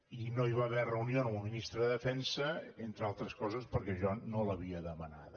i no hi va haver reunió amb el ministre de defensa entre altres coses perquè jo no l’havia demanada